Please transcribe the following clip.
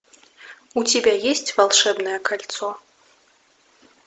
у тебя есть волшебное кольцо